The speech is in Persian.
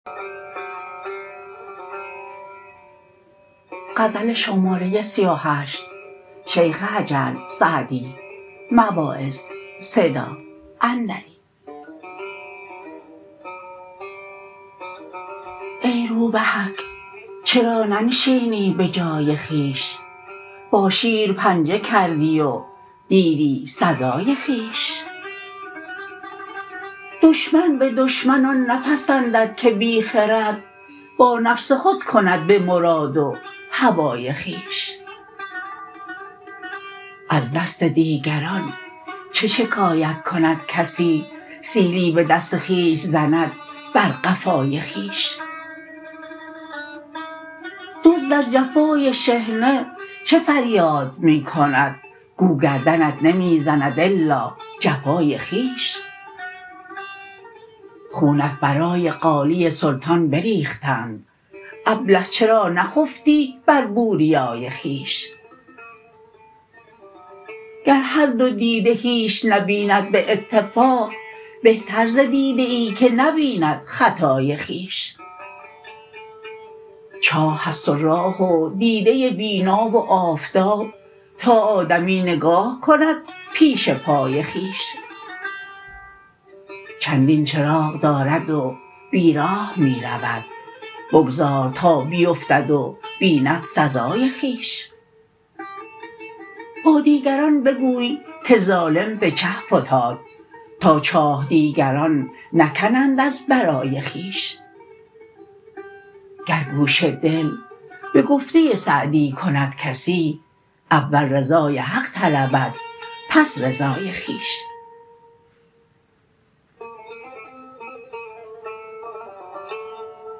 ای روبهک چرا ننشینی به جای خویش با شیر پنجه کردی و دیدی سزای خویش دشمن به دشمن آن نپسندد که بی خرد با نفس خود کند به مراد و هوای خویش از دست دیگران چه شکایت کند کسی سیلی به دست خویش زند بر قفای خویش دزد از جفای شحنه چه فریاد می کند گو گردنت نمی زند الا جفای خویش خونت برای قالی سلطان بریختند ابله چرا نخفتی بر بوریای خویش گر هر دو دیده هیچ نبیند به اتفاق بهتر ز دیده ای که نبیند خطای خویش چاه است و راه و دیده بینا و آفتاب تا آدمی نگاه کند پیش پای خویش چندین چراغ دارد و بیراه می رود بگذار تا بیفتد و بیند سزای خویش با دیگران بگوی که ظالم به چه فتاد تا چاه دیگران نکنند از برای خویش گر گوش دل به گفته سعدی کند کسی اول رضای حق طلبد پس رضای خویش